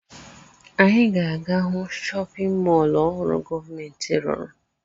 Anyị ga-aga hụ chọpịn mọọlụ ọhụrụ gọọmentị rụrụ.